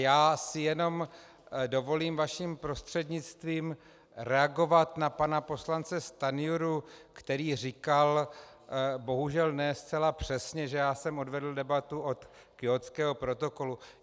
Já si jen dovolím vaším prostřednictvím reagovat na pana poslance Stanjuru, který říkal bohužel ne zcela přesně, že já jsem odvedl debatu od Kjótského protokolu.